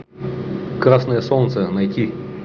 красное солнце найти